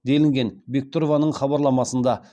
делінген бектұрованың хабарламасында